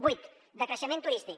vuit decreixement turístic